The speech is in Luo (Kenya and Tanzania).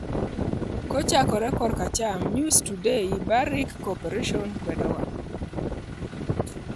Kochakore koracham: News Today, "Barrick Corporation kwedowa".